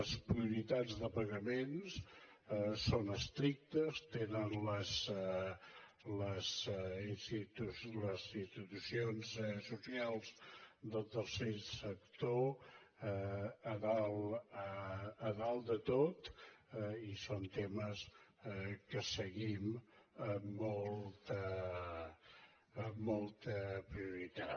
les prioritats de pagaments són estrictes tenen les institucions socials del tercer sector a dalt de tot i són temes que seguim amb molta prioritat